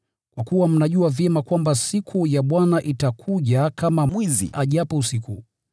kwa kuwa mnajua vyema kwamba siku ya Bwana itakuja kama mwizi ajapo usiku.